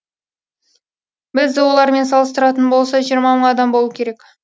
біз олармен салыстыратын болса жиырма мың адам болу керек